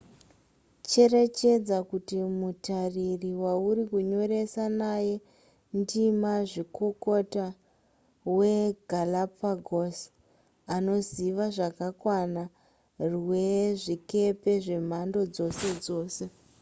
cherechedza kuti mutariri wauri kunyoresa naye ndimazvikokota wegalapagos anoziva zvakakwana rwezvikepe zvemhando dzose dzose